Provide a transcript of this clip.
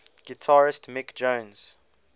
guitarist mick jones